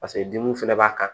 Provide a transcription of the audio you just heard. Paseke dimiw fɛnɛ b'a kan